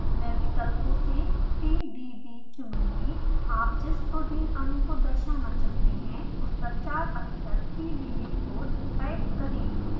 मैं विकल्पों से pdb चुनुगीं आप जिस protein अणु को दर्शाना चाहते हैं उसका चार अक्षर pdb code टाइप करें